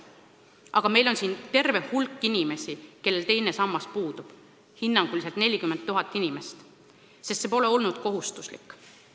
Aga meil on terve hulk inimesi, kellel teine sammas puudub: hinnanguliselt on neid 40 000, sest see pole olnud kohustuslik.